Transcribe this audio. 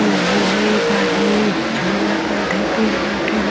नहीं है एक आदमी झोला कंधे पे लेके जा --